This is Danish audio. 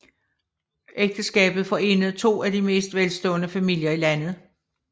Ægteskabet forenede to af de mest velstående familier i landet